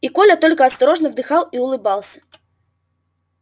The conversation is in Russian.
и коля только осторожно вздыхал и улыбался